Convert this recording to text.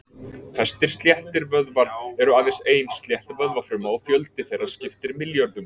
Flestir sléttir vöðvar eru aðeins ein slétt vöðvafruma og fjöldi þeirra skiptir milljörðum.